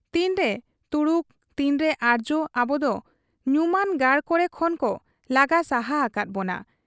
ᱛᱤᱱᱨᱮ ᱛᱩᱲᱩᱠ ᱛᱤᱱᱨᱮ ᱟᱨᱡᱭᱚ ᱟᱵᱚᱫᱚ ᱧᱩᱢᱟᱱ ᱜᱟᱲ ᱠᱚᱨᱮ ᱠᱷᱚᱱ ᱠᱚ ᱞᱟᱜᱟ ᱥᱟᱦᱟ ᱟᱠᱟᱫ ᱵᱚᱱᱟ ᱾